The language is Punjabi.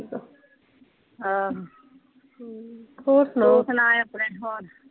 ਆਹੋ। ਤੂੰ ਸੁਣਾ ਆਪਣੇ ਹੋਰ।